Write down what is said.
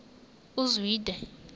uzwide